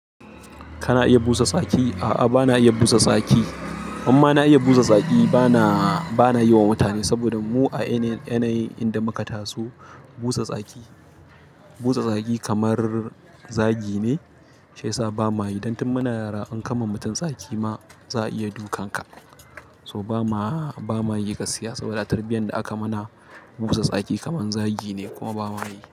Kana iya busa tsaki? A'a bana iya busa tsaki. In ma na iya busa tsaki bana, bana yi wa mutane saboda mu a yanayi inda muka taso busa tsaki, busa tsaki kamar zagi ne shiyasa bamayi. Dan tun muna yara in kama mutum tsaki ma za a iya dukan ka. So ba ma, bamayi gaskiya saboda a tarbiyyan da aka mana busa tsaki kaman zagi ne kuma bamayi.